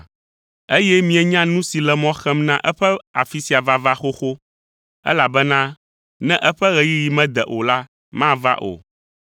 Eye mienya nu si le mɔ xem na eƒe afi sia vava xoxo, elabena ne eƒe ɣeyiɣi mede o la, mava o.